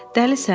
Dəlisən?